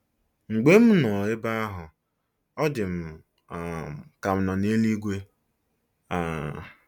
Mgbe m nọ ebe ahụ, ọ dị m um ka m nọ n’eluigwe. ” um